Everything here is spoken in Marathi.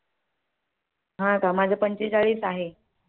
अं आता माझं पंचे चाळीस आहे.